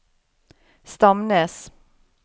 Stamnes